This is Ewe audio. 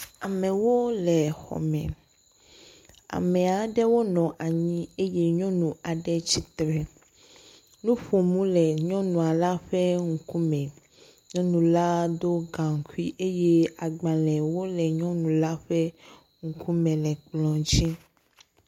Amewo le xɔ me. Ame aɖewo le anyi eye nyɔnu aɖe tsi tre, nuƒonu le nyɔnua la ƒe ŋkume. Nyɔnu la do gaŋkui eye agbalẽwo le nyɔnu la ƒe ŋkume le kplɔ dzi.